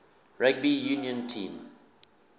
rugby union team